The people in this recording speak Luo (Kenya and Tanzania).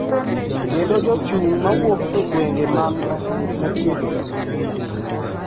Kendo jochung’ ma wuok e gwenge man machiegni